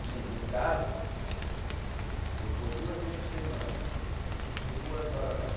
Que nem no caso, eu vou duas vezes por semana, fico duas hora lá.